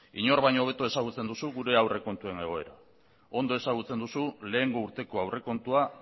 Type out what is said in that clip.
inork baino hobeto ezagutzen duzu gure aurrekontuen egoera ondo ezagutzen duzu lehengo urteko aurrekontua